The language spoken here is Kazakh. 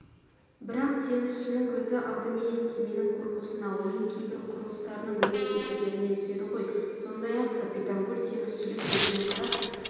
бірақ теңізшінің көзі алдыменен кеменің корпусына оның кейбір құрылыстарының өзгешеліктеріне түседі ғой сондай-ақ капитан гуль теңізшілік көзбен қарап